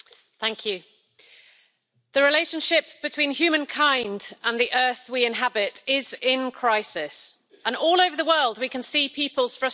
Madam President, the relationship between humankind and the earth we inhabit is in crisis, and all over the world we can see people's frustration.